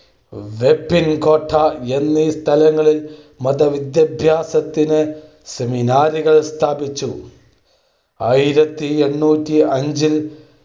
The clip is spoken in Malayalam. വൈപ്പിൻകോട്ട, എന്നീ സ്ഥലങ്ങളിൽ മതവിദ്യാഭ്യാസത്തിന് seminar കൾ സ്ഥാപിച്ചു. ആയിരത്തി എണ്ണൂറ്റി അഞ്ചിൽ